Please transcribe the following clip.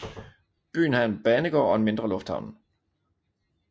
Byen har en banegård og en mindre lufthavn